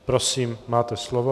Prosím, máte slovo.